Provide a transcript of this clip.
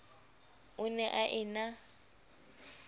o ne a e na